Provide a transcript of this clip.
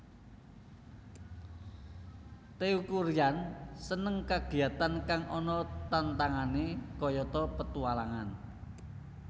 Teuku Ryan seneng kagiyatan kang ana tantangane kayata petualangan